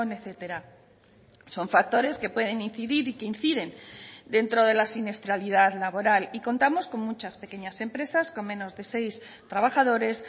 etcétera son factores que pueden incidir y que inciden dentro de la siniestralidad laboral y contamos con muchas pequeñas empresas con menos de seis trabajadores